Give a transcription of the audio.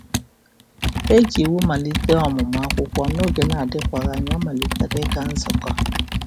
E ji Iwu malite ọmụmụ akwụkwọ, n'oge adịkwaghị anya ọ malitere ịga nzukọ.